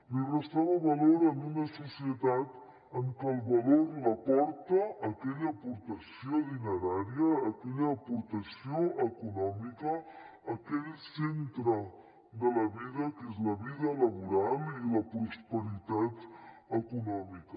li restava valor en una societat en què el valor l’aporta aquella aportació dinerària aquella aportació econòmica aquell centre de la vida que és la vida laboral i la prosperitat econòmica